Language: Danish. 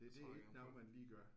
Det er ikke noget man lige gør